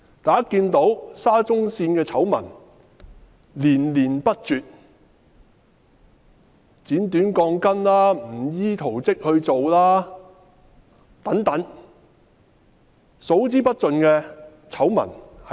大家看到沙中線的醜聞連連不絕，包括剪短鋼筋、工程不依圖則等，不斷爆出數之不盡的醜聞。